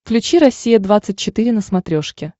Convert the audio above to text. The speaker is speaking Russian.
включи россия двадцать четыре на смотрешке